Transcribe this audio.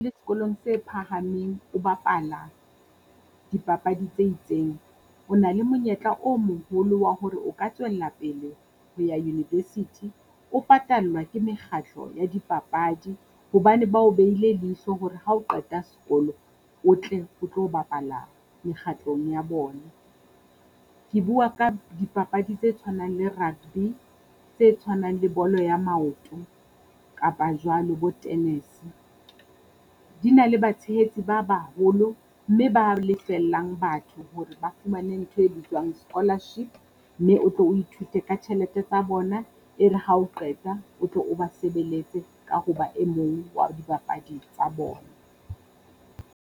Le sekolong se phahameng o bapala dipapadi tse itseng, o na le monyetla o moholo wa hore o ka tswella pele ho ya university o patallwa ke mekgatlo ya dipapadi. Hobane ba o behile leihlo hore ha o qeta sekolo o tle o tlo bapala mekgatlong ya bona, ke bua ka dipapadi tse tshwanang le rugby tse tshwanang le bolo ya maoto kapa jwalo bo tennis. Di na le batshehetsi ba baholo mme ba lefellang batho hore ba fumane ntho e bitswang scholarship mme o tlo o ithute ka tjhelete tsa bona. E re ha o qeta o tlo o ba sebeletse ka ho ba e mong wa dibapadi tsa bona.